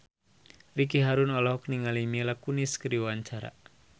Ricky Harun olohok ningali Mila Kunis keur diwawancara